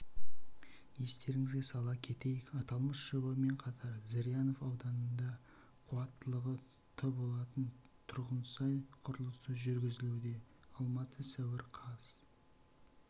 естеріңізге сала кетейік аталмыш жобамен қатар зырянов ауданында қуаттылығы тболатын тұрғынсай құрылысы жүргізілуде алматы сәуір қаз